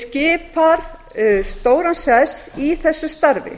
skipar stóran sess í þessu starfi